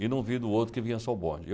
E não vi do outro que vinha só o bonde. E eu